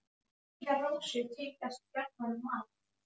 Róslind, hvernig er dagskráin?